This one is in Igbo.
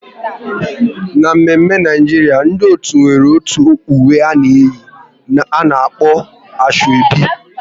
N'mme mme Naijiria, ndị otu nwere otu uwe ha na eyi, a na-akpọ Asoebi